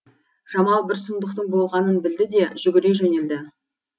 жамал бір сұмдықтың болғанын білді де жүгіре жөнелді